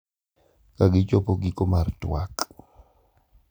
Ka gichopo giko mar tuak,